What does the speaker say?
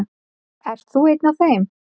Ert þú einn af þeim?